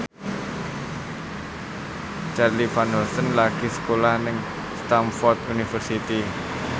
Charly Van Houten lagi sekolah nang Stamford University